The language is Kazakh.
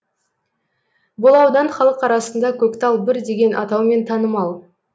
бұл аудан халық арасында көктал бір деген атаумен танымал